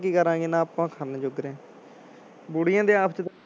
ਕੀ ਕਰਾਂਗੇ ਨਾ ਆਪਾਂ ਬੁੜੀਆਂ ਦੇ ਆਪਸ ਚ